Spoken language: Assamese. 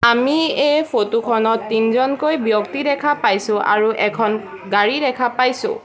আমি এই ফটো খনত তিনজনকৈ ব্যক্তি দেখা পাইছোঁ আৰু এখন গাড়ী দেখা পাইছোঁ।